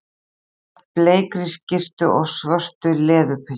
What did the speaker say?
Svo er hún klædd bleikri skyrtu og svörtu leðurpilsi.